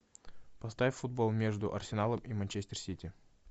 поставь футбол между арсеналом и манчестер сити